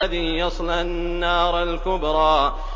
الَّذِي يَصْلَى النَّارَ الْكُبْرَىٰ